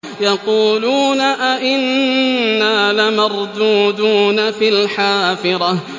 يَقُولُونَ أَإِنَّا لَمَرْدُودُونَ فِي الْحَافِرَةِ